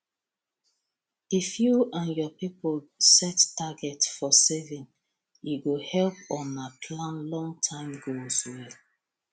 if you and your people set target for saving e go help una plan longterm goals well